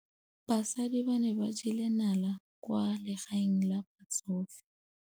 Basadi ba ne ba jela nala kwaa legaeng la batsofe.